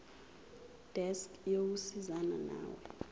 desk yokusizana nawe